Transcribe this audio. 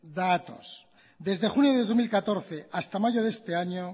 datos desde junio de dos mil catorce hasta mayo de este año